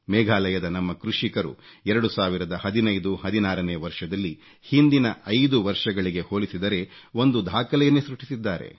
ಮೇಘಾಲಯದ ನಮ್ಮ ಕೃಷಿಕರು 2015 16 ನೇ ವರ್ಷದಲ್ಲಿ ಹಿಂದಿನ ಐದು ವರ್ಷಗಳಿಗೆ ಹೋಲಿಸಿದರೆ ಒಂದು ದಾಖಲೆಯನ್ನೇ ಸೃಷ್ಟಿಸಿದ್ದಾರೆ